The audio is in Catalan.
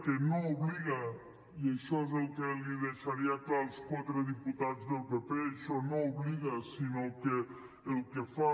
que no obliga i això és el que els deixaria clar als quatre diputats del pp això no obliga sinó que el que fa